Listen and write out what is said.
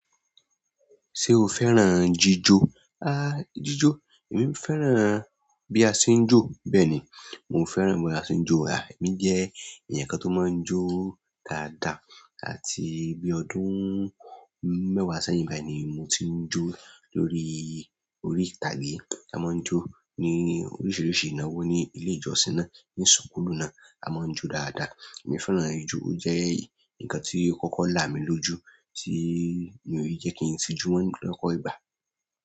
Ṣé o fẹ́ràn jíjó? Há jíjó, èmi fẹ́ràn bí a ṣe ń jó bẹ́ẹ̀ni. Mo fẹ́ràn bí a tín jó. Há èmi jẹ́ ẹ̀yàn kan tó máa ń jó dáadáa àti bí ọdún mẹ́wàá sẹ́yìn báyìí ni mo ti ń jó lórí orí ìtàgé. A máa ń jó ní oríṣiríṣi ìnáwó ní ilé ìjọsìn náà, ní sùkúlù náà. A máa ń jó dáadáa. Èmi fẹ́ràn jíjó. Ó jẹ́ nǹkan tí kọ́kọ́ là mí lójú tí mi ò yí jé kí n tijú mọ́ lọ́pọ̀ ìgbà.